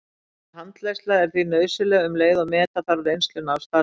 Markviss handleiðsla er því nauðsynleg um leið og meta þarf reynsluna af starfinu.